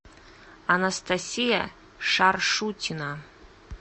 анастасия шаршутина